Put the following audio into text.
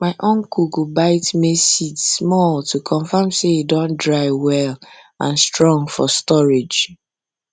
my uncle go uncle go bite maize seed small to confirm say e don dry well and strong for storage